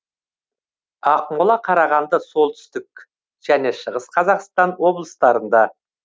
ақмола қарағанды солтүстік және шығыс қазақстан облыстарында